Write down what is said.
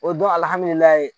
O ye don alihamdulilayi